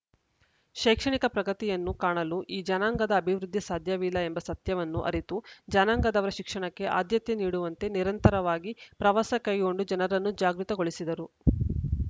ಶೈಕ್ಷಣಿಕ ಪ್ರಗತಿಯನ್ನು ಕಾಣಲು ಈ ಜನಾಂಗದ ಅಭಿವೃದ್ಧಿ ಸಾಧ್ಯವಿಲ್ಲ ಎಂಬ ಸತ್ಯವನ್ನು ಅರಿತು ಜನಾಂಗದವರ ಶಿಕ್ಷಣಕ್ಕೆ ಆದ್ಯತೆ ನೀಡುವಂತೆ ನಿರಂತರವಾಗಿ ಪ್ರವಾಸ ಕೈಗೊಂಡು ಜನರನ್ನು ಜಾಗೃತ ಗೊಳಿಸಿದರು